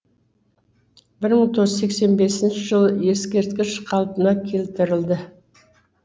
бір мың тоғыз жүз сексен бесінші жылы ескерткіш қалпына келтірілді